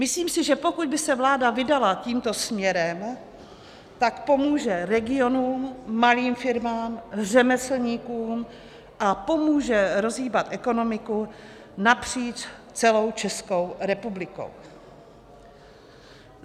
Myslím si, že pokud by se vláda vydala tímto směrem, tak pomůže regionům, malým firmám, řemeslníkům a pomůže rozhýbat ekonomiku napříč celou Českou republikou.